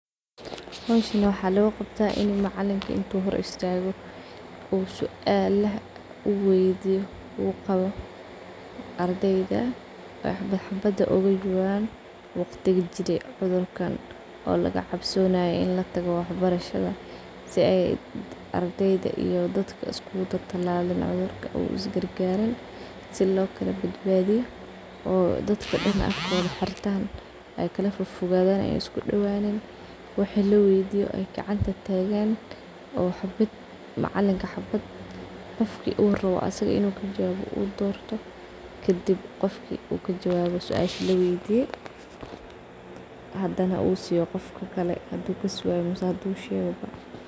Howshan waxaa loqabtah in uu macalinka hor istago suala weydiyo ardayda oo xabad xabad ogajawaban cudurkan marku lagacabsanaye ardeyda iyo macaliminta in cudurks kudaco , sas aa lagacabsanaye wa nadam ficn oo cudurkas liskaga ilalinaye oo dadka dan afka xirtan oo kala fodfogadan xabad xabad gacanta lotago , qof walbo kajawabo suasha laweydiyo hadana uu siyo qofka kale hadu kajawabo ama hdu shego.